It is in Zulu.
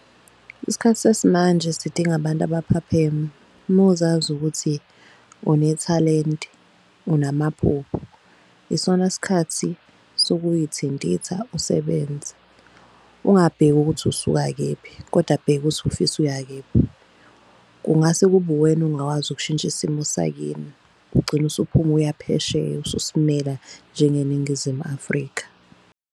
Isikhathi sesimanje sidinga abantu abaphapheme. Uma uzazi ukuthi unethalente unamaphupho isona sikhathi sokuyithintitha usebenze. Ungabheki ukuthi usuka kephi kodwa bheka uthi ufisa uya kephi. Kungase kube uwena ongawazi ukushintsha isimo sakini, ugcine usuphuma uya phesheya, ususimela njengeNingizimu Afrika.